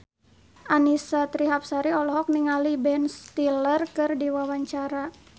Annisa Trihapsari olohok ningali Ben Stiller keur diwawancara